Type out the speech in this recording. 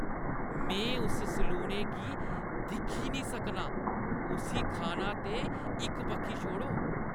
में उस सलूने गी दिक्खी नेईं सकनां, उस्सी खाना ते इक बक्खी छोड़ो।